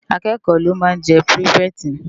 Ákëkò ló má n jè pirifèti